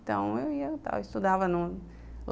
Então, eu ia, estudava